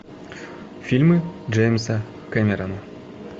фильмы джеймса кэмерона